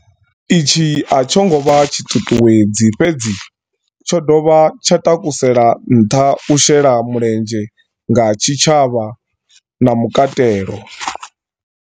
Itshi a tsho ngo vha tshi ṱuṱuwedzi fhedzi, tsho dovha tsha takusela nṱha u shela mulenzhe nga tshi tshavha na mukatelo.